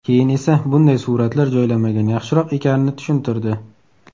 Keyin esa bunday suratlar joylamagan yaxshiroq ekanini tushuntirdi.